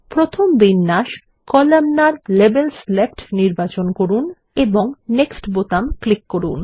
প্রথম বিন্যাস columnar - labels left নির্বাচন করুন এবং নেক্সট বোতাম ক্লিক করুন